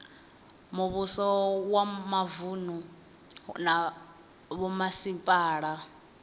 muvhuso wa mavunu na vhomasipala